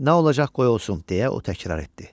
Nə olacaq qoy olsun, deyə o təkrar etdi.